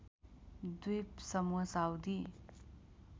द्वीप समूह साउदी